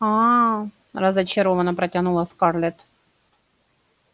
а-а разочарованно протянула скарлетт